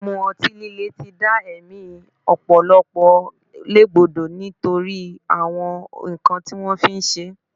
Mímu ọtí líle ti dá ẹ̀mí ọ̀pọ̀lọpọ̀ légbodò nítorí àwọn nǹkan tí wọ́n fi ń ṣe é